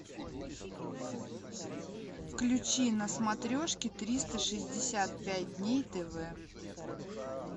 включи на смотрешке триста шестьдесят пять дней тв